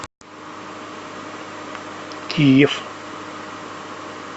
киев